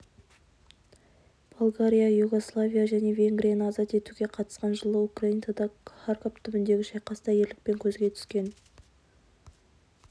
болгария югославия және венгрияны азат етуге қатысқан жылы украинадағы харьков түбіндегі шайқаста ерлікпен көзге түскен